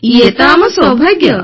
ଇଏ ତ ଆମ ସୌଭାଗ୍ୟ